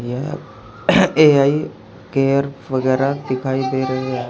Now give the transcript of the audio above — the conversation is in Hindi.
यह ए_आई केयर वगेरा दिखाइ दे रहे--